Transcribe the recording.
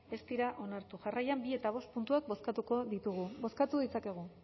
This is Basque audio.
ez dira onartu jarraian bi eta bost puntuak bozkatuko ditugu bozkatu ditzakegu